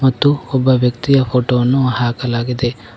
ಮತ್ತು ಒಬ್ಬ ವ್ಯಕ್ತಿಯ ಫೋಟೋ ವನ್ನು ಹಾಕಲಾಗಿದೆ.